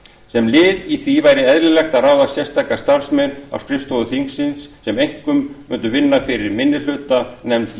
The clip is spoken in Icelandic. sem lið í því væri eðlilegt að ráða sérstaka starfsmenn á skrifstofu þingsins sem einkum mundu vinna fyrir minnihluta í